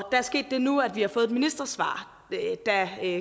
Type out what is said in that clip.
er sket det nu at vi har fået et ministersvar der